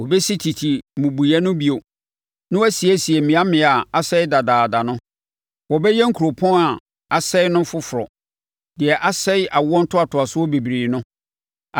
Wɔbɛsi tete mmubuiɛ no bio, na wɔasiesie mmeammea a asɛe dadaada no; wɔbɛyɛ nkuropɔn a asɛeɛ no foforɔ deɛ asɛe awoɔ ntoatoasoɔ bebree no.